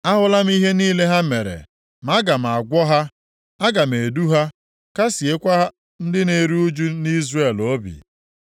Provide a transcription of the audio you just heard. Ahụla m ihe niile ha mere ma aga m agwọ ha. Aga m edu ha, kasịekwa ndị na-eru ụjụ nʼIzrel obi.